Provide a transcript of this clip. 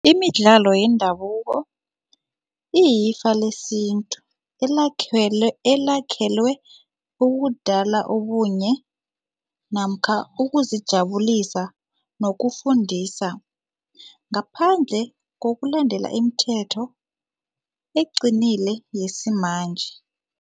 Imidlalo yendabuko iyifa lesintu elakhelwe ukudala ubunye namkha ukuzijabulisa nokufundisa ngaphandle kokulandela imithetho eqinile yesimanje.